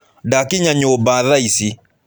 Ndakinya nyũmba thaa ici.